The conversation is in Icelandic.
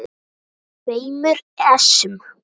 tveimur essum.